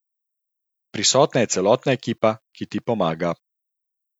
Prisotna je celotna ekipa, ki ti pomaga.